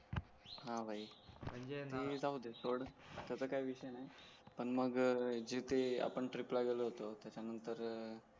हां भाई जाऊदे सोड त्याचा काय विषय नाय पण मग आपण जिथे आपण ट्रिप ला गलो होतो